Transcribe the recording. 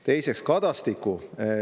Teiseks, Kadastik.